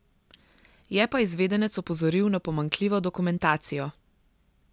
Je pa izvedenec opozoril na pomanjkljivo dokumentacijo.